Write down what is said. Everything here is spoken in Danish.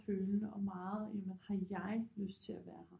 Følende og meget jamen har jeg lyst til at være her